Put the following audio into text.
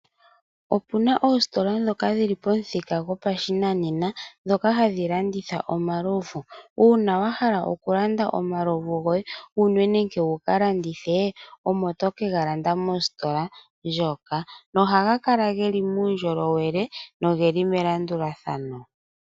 Opuna oositola ndhoka dhili pomuthika gwashinanena ndhoka hadhi landitha omalovu. Uuna wahala okulanda omalovu goye wunwe nenge wuka landithe omo tokegalanda mositola moka na ohaga kala geli muundjolowele nomelandulathano.